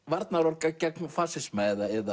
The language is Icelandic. varnaðarorð gegn fasisma